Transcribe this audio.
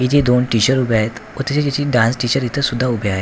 इथे दोन टीचर उभे आहेत त डान्स टीचर इथे सुद्धा उभे आहेत.